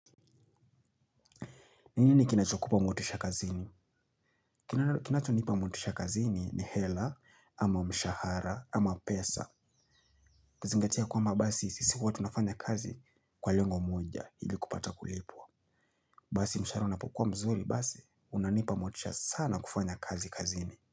Ni nini kinachokupa motisha kazini? Kinachonipa mwotisha kazini ni hela, ama mshahara, ama pesa. Nazingatia kwamba basi sisi huwa tunafanya kazi kwa lengo moja ili kupata kulipwa. Basi mshahara unapokuwa mzuri, basi unanipa motisha sana kufanya kazi kazini.